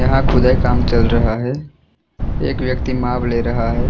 यहां खुदाई काम चल रहा है एक व्यक्ति माप ले रहा है।